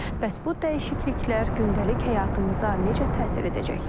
Bəs bu dəyişikliklər gündəlik həyatımıza necə təsir edəcək?